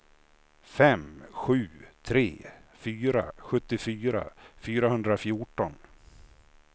fem sju tre fyra sjuttiofyra fyrahundrafjorton